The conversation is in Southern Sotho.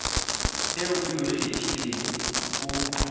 eo o e kgethileng o